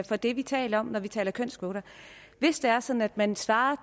for det vi taler om når vi taler kønskvoter hvis det er sådan at man svarer